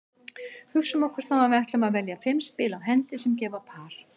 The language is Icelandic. Hugsum okkur þá að við ætlum að velja fimm spil á hendi sem gefa par.